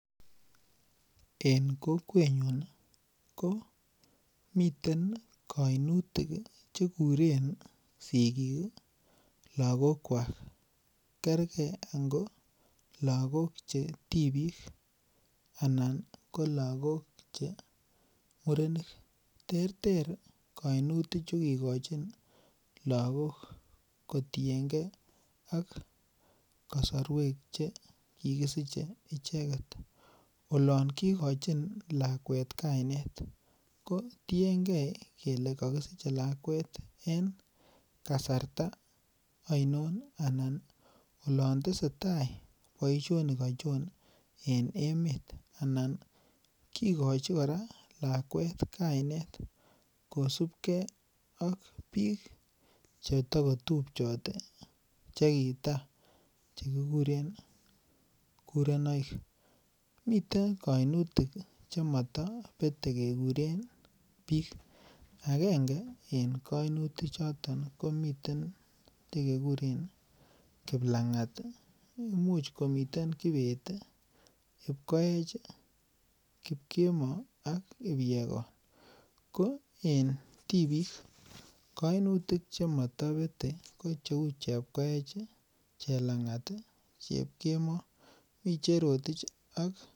En kokwenyun komiten koinutik chekuren sigik lagokwak kerker ango lagok chetibik anan ko murenik terter koinutichu kikochin lagok kotiengee ak kosorwek che kikisiche icheket olon kikochin lakwet kainet kotiengee kele kokisiche lakwet en kasarta oinon alan olondesetaa boishonik ochon en emet anan kikochi koraa lakwet kainet kosib kee ak bik chetokotupchot chekitaa chekikuren kurenoik miten kounutik chemotobete kekuren bik, agenge en kainutichoto komiten nekekuren kiplangat ii, imuch komite kibet ii, kipkioech ii, kipkemoi ak kipyegon ko en tibik kounutik chemotobete ko cheu chepkoech ii, chelangat ii, Chepkemoi, mi cherotich.